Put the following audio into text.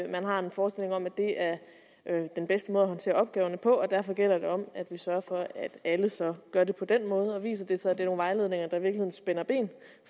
man har en forestilling om at det er den bedste måde at håndtere opgaverne på og derfor gælder det om at vi sørger for at alle så gør det på den måde og viser det sig at det er nogle vejledninger der i virkeligheden spænder ben